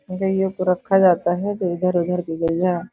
गईयों को रखा जाता है जो इधर-उधर गईया --